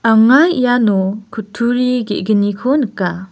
anga iano kutturi ge·gniko nika.